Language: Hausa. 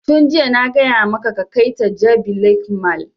Tun jiya na gaya maka ka kai ta jabi lake mall!